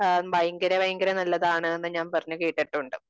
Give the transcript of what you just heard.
ഭയങ്കര ഭയങ്കര നല്ലതാണ് എന്ന് ഞാൻ പറഞ്ഞ് കേട്ടിട്ടുണ്ട്.